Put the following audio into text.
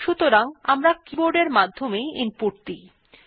সাধারণত আমরা কিবোর্ড এর মাধ্যমে ইনপুট দিয়ে থাকি